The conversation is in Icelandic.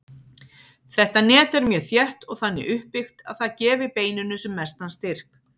Þetta net er mjög þétt og þannig uppbyggt að það gefi beininu sem mestan styrk.